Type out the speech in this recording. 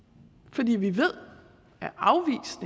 fordi vi ved